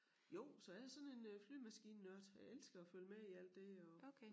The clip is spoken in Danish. Jo så jeg sådan en øh flyvemaskinenørd jeg elsker at følge med i alt det og